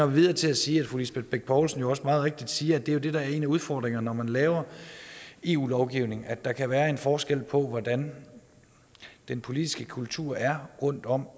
videre til at sige at fru lisbeth bech poulsen jo også meget rigtigt siger at det jo er det der er en af udfordringerne når man laver eu lovgivning nemlig at der kan være en forskel på hvordan den politiske kultur er rundtom